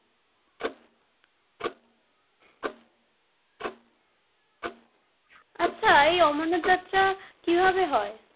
আচ্ছা এই অমরনাথ যাত্রা কী ভাবে হয়?